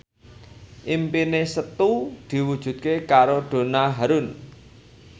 impine Setu diwujudke karo Donna Harun